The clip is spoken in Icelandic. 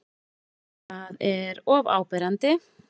Það er of áberandi.